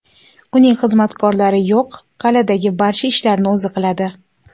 Uning xizmatkorlari yo‘q, qal’adagi barcha ishlarni o‘zi qiladi.